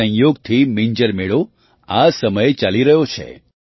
સંયોગથી મિંજર મેળો આ સમયે ચાલી પણ રહ્યો છે